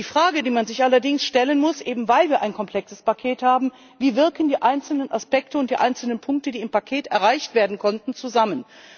Die Frage, die man sich allerdings stellen muss, eben weil wir ein komplexes Paket haben, ist Wie wirken die einzelnen Aspekte und die einzelnen Punkte, die im Paket erreicht werden konnten, zusammen?